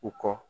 U kɔ